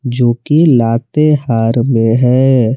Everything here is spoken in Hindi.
जो कि लातेहार में है।